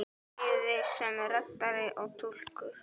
Bæði sem reddari og túlkur!